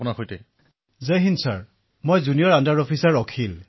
অখিলঃ জয় হিন্দ মহাশয় মোৰ নাম জুনিয়ৰ আণ্ডাৰ অফিচাৰ অখিল